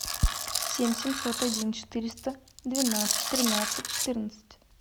семь семьсот один четыреста двенадцать тринадцать четырнадцать